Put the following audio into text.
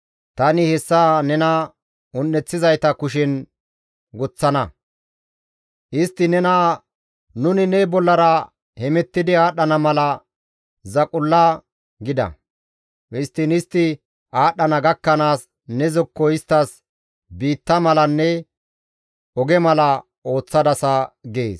Tani hessa nena un7eththizayta kushen woththana. Istti nena, ‹Nuni ne bollara hemettidi aadhdhana mala zaqulla› gida. Histtiin istti aadhdhana gakkanaas ne zokko isttas biitta malanne oge mala ooththadasa» gees.